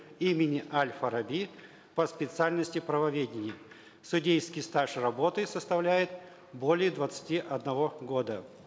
имени аль фараби по специальности правоведение судейский стаж работы составляет более двадцати одного года